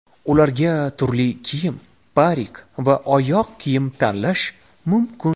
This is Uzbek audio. Ularga turli kiyim, parik va oyoq kiyim tanlash mumkin.